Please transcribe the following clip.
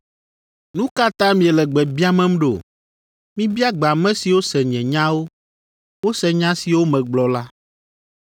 Nu ka ta miele gbe biamem ɖo? Mibia gbe ame siwo se nye nyawo. Wose nya siwo megblɔ la.”